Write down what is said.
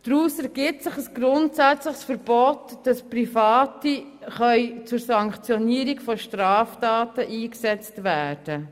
Daraus ergibt sich ein grundsätzliches Verbot, Private zur Sanktionierung von Straftaten einzusetzen.